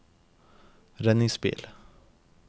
redningsbil